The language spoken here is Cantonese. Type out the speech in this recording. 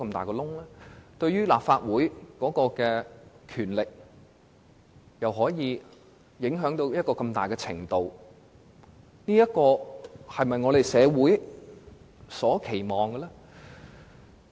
高鐵對立法會的權力造成這麼深遠的影響，這是否符合社會的期望呢？